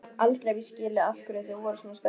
Aldrei hef ég skilið af hverju þau voru svona sterk.